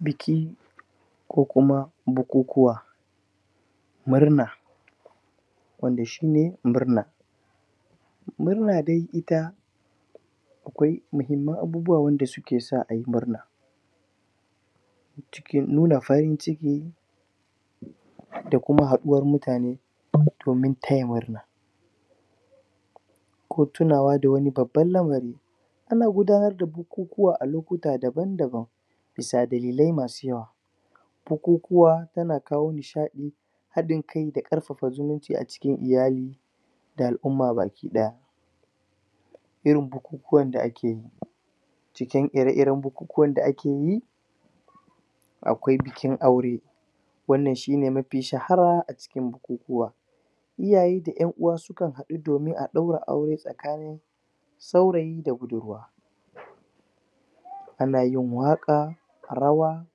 Biki Ko kuma, bukukuwa Murna Wanda shine murna Murna dae ita Akwai muhimman abubuwa dake sa ayi murna Cikin nuna farin ciki Da kuma haduwar mutane Domin taya murna Ko tunawa da wani babban lamari Ana gudanar da bukukuwa a lokuta daban daban Bisa dalilai masu yawa Bukukuwa tana kawo nishaɗi Hadin kai da karfafa zumunci a cikin iyali Da al'umma baki daya Irin bukukuwan da akeyi Cikin ire iren bukukuwan da akeyi Akwai bikin aure Wannan shine mafi shahara a cikin bukukuwa Iyaye da ƴan uwa sukan haɗu domin a ɗaura aure tsakanin Saurayi da budurwa Anayin waƙa Rawa,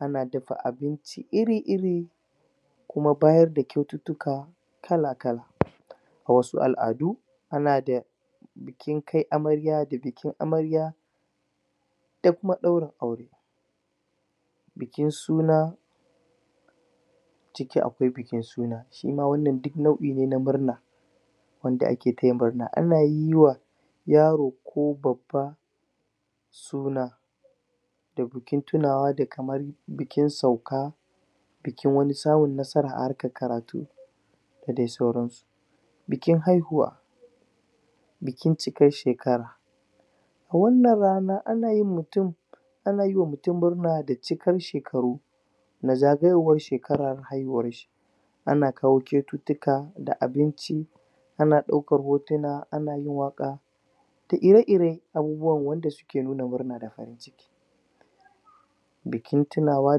Ana dafa abinci iri iri Kuma bayadda kwaututtuka Kala kala Wasu al'adu Bikin kai amarya da bikin amarya Da kuma ɗaurin aure Bikin suna Ciki akwai bikin suna Suna wannan duk naɗi ne na murna Wanda ake taya murna ana yiwa Yaro ko babba Suna Da bikin tunawa da kaman Bikin sauka Bikin wani samun nasara a harkar karatu Da sauran su Bikin haihuwa Bikin cikar shekara Wannan rana ana yin mutum Ana taya mutum murna da cikar shekaru Na zagayowar haihuwar shi Ana kawo kwaututtuka da abinci Ana ɗaukar hotuna ana yin waka Da ire iren Abubuwa wanda suke nuna murna da farin ciki Bikin tunawa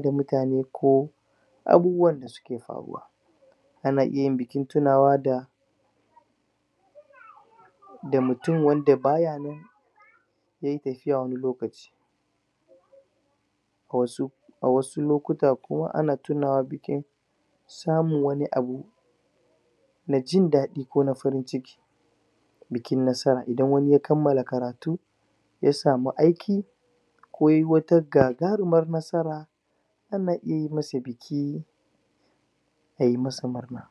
da mutane ko Abubuwan da suke faruwa Ana iya yin bukin tunawa da Da mutum wanda baya nan Yayi tafiya wani lokaci Wasu A wasu lokuta kuma ana tunawa bikin, Samun wani abu Na jin dadi kona farin ciki Bikin nasara idan wani ya kammala karatu Ya samu aiki Ko yai wata gagarumar nasara Ana iya masa biki Ai masa murna